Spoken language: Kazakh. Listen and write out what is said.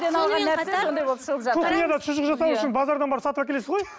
шұжық жасау үшін базардан барып сатып әкелесіз ғой